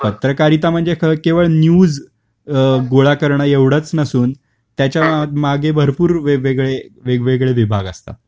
पत्रकारिता म्हणजे केवळ न्यूज गोळा करण एवढच नसून त्याच्या मागे भरपूर वेग वेगळे विभाग असतात